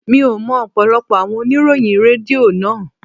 Mi ò mọ ọ̀pọ̀lọpọ̀ àwọn oníròyìn Rédíò náà.